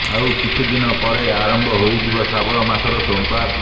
ଆଉ କିଛି ଦିନ ପରେ ଆରମ୍ଭ ହୋଇଯିବ ଶ୍ରାବଣ ମାସ ସୋମବାର